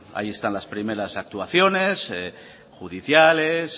ahí están las primeras actuaciones judiciales